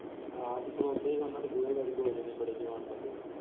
ਆਹੋ ਤੇ ਖਲੋਤੇ ਹੀ ਉਹਨਾਂ ਦੇ ਬੂਹੇ ਗਾੜੀ ਦੋ ਜਾਣੇ ਬੜੇ ਜਵਾਨ ਬੰਦੇ।